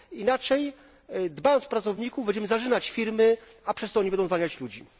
Inaczej, dbając o pracowników, będziemy zarzynać firmy, a przez to one będą zwalniać ludzi.